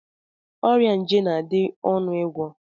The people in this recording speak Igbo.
Ọrịa nje na-adị ọnụ ịgwọ.